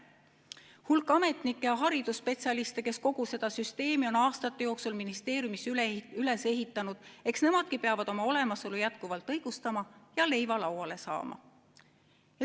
Hulk ametnikke ja haridusspetsialiste, kes kogu seda süsteemi on aastate jooksul ministeeriumis üles ehitanud, eks nemadki peavad oma olemasolu jätkuvalt õigustama ja leiva lauale saama.